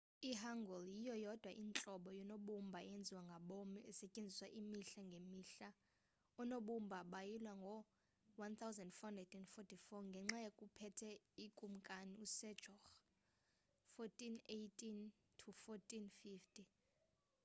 i-hangeul yiyo yodwa intlobo yoonobumbao eyenziwa ngabom esetyenziswa imihla ngemihla. oonobumba bayilwa ngo-1444 ngexa kuphethe ukumkani u-sejong 1418 – 1450